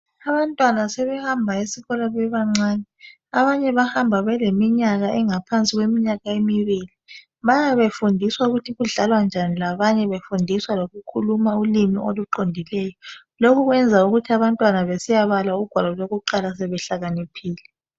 Abantwana sebehamba esikolo bebancane. Abanye bahamba beleminyaka engaphansi kweminyaka emibili. Bayabe befundiswa ukuthi kudlalwa njani labanye befundiswa lokukhuluma ulimi oluqondileyo. Lokho kwenza ukuthi abantwana sebesiyabala ugwalo lokuqala behlakaniphile.